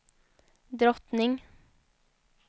drottning